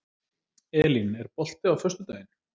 Elín, er bolti á föstudaginn?